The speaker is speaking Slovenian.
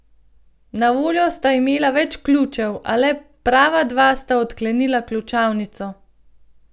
Na voljo sta imela več ključev, a le prava dva sta odklenila ključavnico.